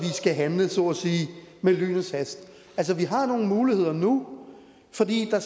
skal handle med lynets hast vi har nogle muligheder nu fordi der